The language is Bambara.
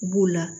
B'u la